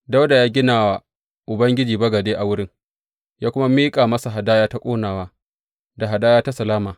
Dawuda ya gina wa Ubangiji bagade a wurin, ya kuma miƙa masa hadaya ta ƙonawa, da hadaya ta salama.